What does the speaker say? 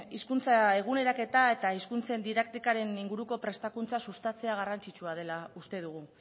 hizkuntza eguneraketa eta hizkuntzen didaktiken inguruko prestakuntza sustatzea garrantzitsua dela uste dugu